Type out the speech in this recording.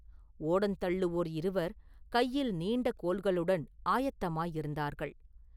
ஓடந்தள்ளுவோர் இருவர் கையில் நீண்ட கோல்களுடன் ஆயத்தமாயிருந்தார்கள்.